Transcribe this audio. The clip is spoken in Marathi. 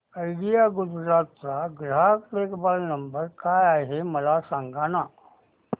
आयडिया गुजरात चा ग्राहक देखभाल नंबर काय आहे मला सांगाना